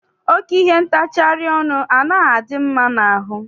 Oke ihe ntacharị ọnụ anaghị adị mma n'ahụ.